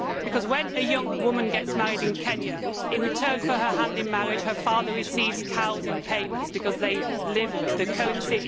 Because when a young woman gets married in Kenya, in return for her hand in marriage, her father receives cows in payment because cows are the currency.